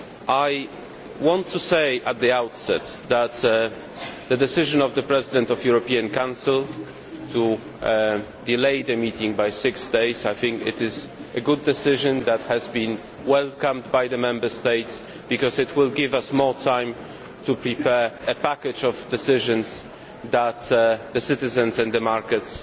I want to say at the outset that the decision of the President of the European Council to delay the meeting by six days is, I think, a good decision that has been welcomed by the Member States because it will give us more time to prepare a package of decisions that the citizens and the markets